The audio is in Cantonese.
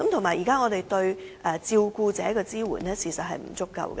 此外，現時對照顧者的支援亦不足夠。